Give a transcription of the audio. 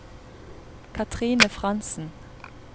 Katrine Frantzen